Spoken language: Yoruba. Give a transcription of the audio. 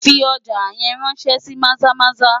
Fi ọjà yẹn ráńṣẹ́ sí Maza-Maza!